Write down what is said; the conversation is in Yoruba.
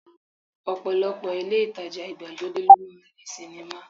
Ọ̀pọ̀lọpọ̀ ilé ìtajà ìgbàlódé ló máa ń ní sinimá